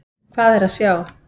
Hvað er að sjá?